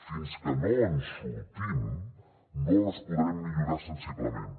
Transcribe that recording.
fins que no en sortim no les podrem millorar sensiblement